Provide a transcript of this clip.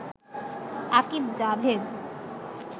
Akib Javed